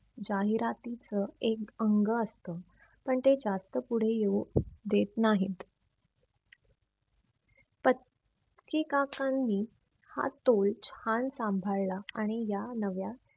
जाहिरातीवच एक अंग असत. पण ते जास्त पुढे येऊ देत नाहीत. प्र काकांनी हा तोच छान सांभाळला आणि या नव्या